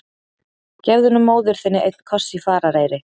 Gefðu nú móður þinni einn koss í farareyri!